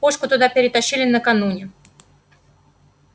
пушку туда перетащили накануне